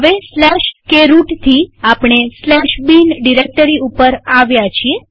હવે કે રૂટથી આપણે bin ડિરેક્ટરી ઉપર આવ્યા છીએ